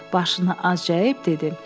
Başını azca əyib dedi.